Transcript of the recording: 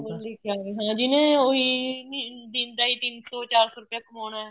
ਹਾਂ ਜਿਹਨੇ ਉਹੀ ਦਿਨ ਦਾ ਹੀ ਤਿੰਨ ਸੋ ਚਾਰ ਰੁਪਇਆ ਕਮਾਉਣਾ ਏ